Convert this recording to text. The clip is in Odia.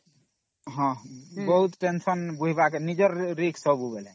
ବହୁତ Tensionସେଗା ହଁ ବେଲେ ନିଜର Risk ସବୁ